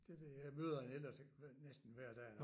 Det ved jeg jeg møder en Ellert hver næsten hver dag